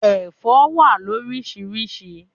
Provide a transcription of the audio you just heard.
Ẹ̀fọ́ wà loríṣiríṣi.